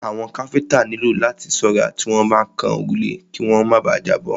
Àwọn káfíńńtà nílò láti ṣọ́ra tí wọ́n bá ń kan òrùlé kí wọ́n má bà à jábọ́.